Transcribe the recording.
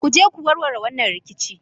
Ku je ku warware wannan rikici!